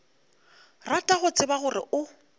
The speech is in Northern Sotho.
rata go tseba gore o